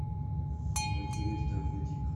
владимир давыдик